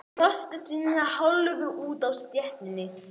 Brosir til hennar hálfur úti á stéttinni.